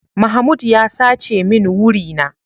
Mahmoud ya sace min wuri na.